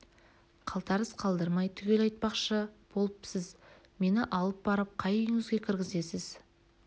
қалтарыс қалдырмай түгел айтпақшы болыпсіз мені алып барып қай үйіңізге кіргізесіз